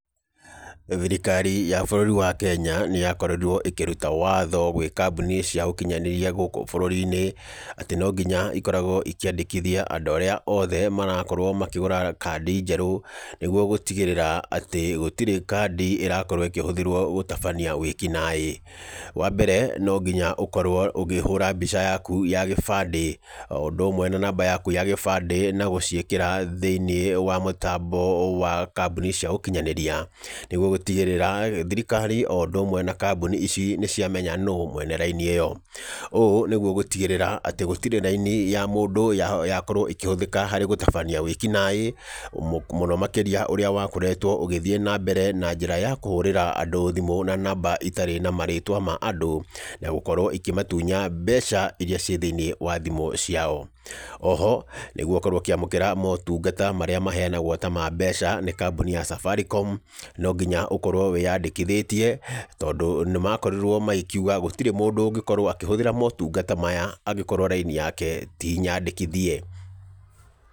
Thirikari ya bũrũri wa Kenya nĩ yakorirwo ĩkĩruta watho gwĩ kambuni cia ũkinyanĩria gũkũ bũrũri-inĩ, atĩ no ngĩnya ikoragwo ikĩandĩkithia andũ arĩa othe marakorwo makĩgũra kandi njerũ, nĩguo gũtigĩrĩra atĩ gũtirĩ kandi ĩrakorwo ĩkĩhũthĩrwo gũtabania wĩkinaĩ. Wambere no nginya ũkorwo ũkĩhũra mbica yaku ya gĩbandĩ, o ũndũ ũmwe na namba yaku ya gĩbandĩ na gũciĩkĩra thĩiniĩ wa mũtambo wa kambuni cia ũkĩnyanyĩria, nĩguo gũtigĩrĩra thirikari o ũndũ ũmwe na kambuni ici nĩ ciamenya nũ mwene raini ĩyo. Ũũ nĩguo gũtigĩrĩra atĩ gũtirĩ raini ya mũndũ yakorwo ĩkĩhũthĩka harĩ gũtabania wĩkinaĩ, mũno makĩrĩa ũrĩa wakoretwo ũgĩthiĩ na mbere na njĩra ya kũhũrĩra andũ thimũ na namba itarĩ na marĩtwa ma andũ, na gũkorwo ikĩmatunya mbeca iria ci thĩiniĩ wa thimũ ciao. Oho nĩgũo ũkorwo ũkĩamũkĩra motungata marĩa maheanagwo ta ma mbeca, nĩ kambuni ya Safaricom, no nginya ũkorwo wĩyandĩkithĩtie, tondũ nĩ makorirwo magĩkiuga gũtĩrĩ mũndũ ũngĩkorwo akĩhũthĩra motungata maya angĩkorwo laini yake ti nyandĩkithie.